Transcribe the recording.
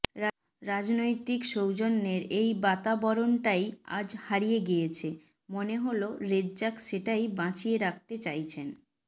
রাজনৈতিক সৌজন্যের এই বাতাবরণটাই আজ হারিয়ে গিয়েছে মনে হল রেজ্জাক সেটাই বাঁচিয়ে রাখতে চাইছেন